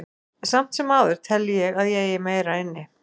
Samt sem áður tel ég að ég eigi meira inni.